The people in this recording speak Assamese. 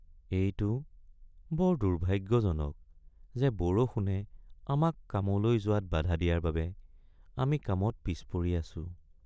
এইটো বৰ দুৰ্ভাগ্যজনক যে বৰষুণে আমাক কামলৈ যোৱাত বাধা দিয়াৰ বাবে আমি কামত পিছপৰি আছোঁ।